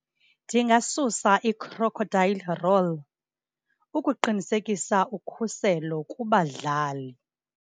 Ndingasusa i-crocodile roll ukuqinisekisa ukhuselo kubadlali.